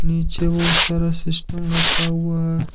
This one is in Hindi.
पीछे बहुत सारा सिस्टम रखा हुआ है।